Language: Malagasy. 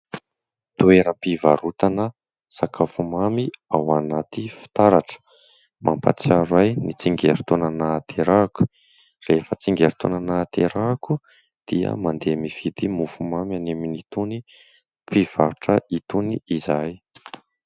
Toeram-pivarotana sakafo mamy ao anaty fitaratra. Mampatsiaro ahy ny tsingerin-taona nahaterahako. Rehefa tsingerin-taona nahaterahako dia mandeha mividy mofomamy any amin'itony mpivarotra itony izahay.